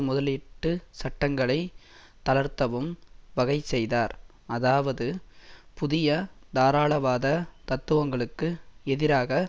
முதலீட்டு சட்டங்களை தளர்த்தவும் வகைசெய்தார் அதாவது புதிய தாராளவாத தத்துவங்களுக்கு எதிராக